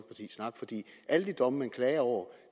alle de domme man klager over